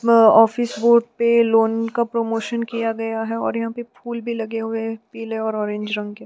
व office board पर loan का प्रमोशन किया गया है और यहाँ पर फूल भी लगे हुए हैं पीले और ऑरेंज रंग के--